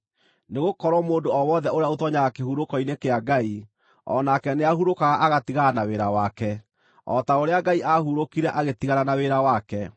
nĩgũkorwo mũndũ o wothe ũrĩa ũtoonyaga kĩhurũko-inĩ kĩa Ngai o nake nĩahurũkaga agatigana na wĩra wake, o ta ũrĩa Ngai aahurũkire agĩtigana na wĩra wake.